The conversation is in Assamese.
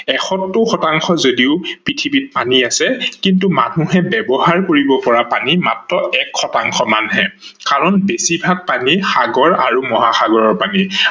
এষৌত্তৰ শতাংশ যদিও পৃথিৱীত পানী আছে কিন্তু মানুহে ব্যৱহাৰ কৰিব পৰা পানী মাত্ৰ এক শতাংশহে কাৰন বেছি ভাগ পানী সাগৰ আৰু মহাসাগৰৰ পানী।